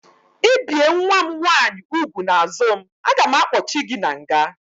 I bie nwa m nwaanyị úgwù n'azụ m, a ga m akpochi gị n'nga!